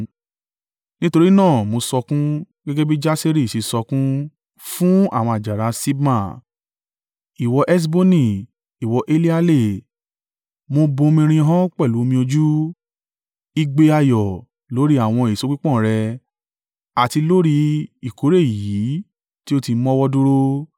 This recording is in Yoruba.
Nítorí náà mo sọkún, gẹ́gẹ́ bí Jaseri ṣe sọkún, fún àwọn àjàrà Sibma. Ìwọ Heṣboni, ìwọ Eleale, mo bomirin ọ́ pẹ̀lú omi ojú! Igbe ayọ̀ lórí àwọn èso pípọ́n rẹ àti lórí ìkórè èyí tí o ti mọ́wọ́ dúró.